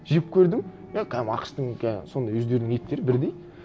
жеп көрдім е кәдімгі ақш тың сондай өздерінің еттері бірдей